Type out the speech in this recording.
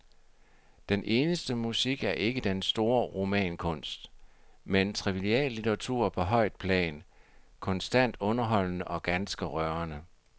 Den eneste musik er ikke den store romankunst, men triviallitteratur på højt plan, konstant underholdende og ganske rørende.